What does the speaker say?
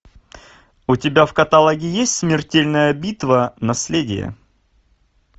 у тебя в каталоге есть смертельная битва наследие